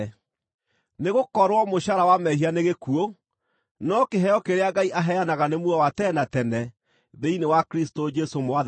Nĩgũkorwo mũcaara wa mehia nĩ gĩkuũ, no kĩheo kĩrĩa Ngai aheanaga nĩ muoyo wa tene na tene thĩinĩ wa Kristũ Jesũ Mwathani witũ.